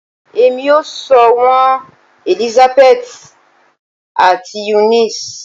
Emi o si sọ wọn Elisabeti ati Eunice